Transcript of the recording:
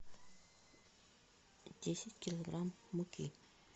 десять килограмм муки